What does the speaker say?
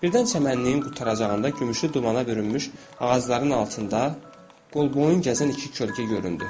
Birdən çəmənliyin qurtaracağında gümüşlü dumana bürünmüş ağacların altında qolboyun gəzən iki kölgə göründü.